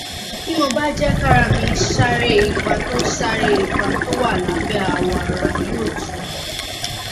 bí mo bá jẹ kára mí ṣàárẹ ipa tó ṣàárẹ ipa tó wà lábẹ awọ ara yóò tù mí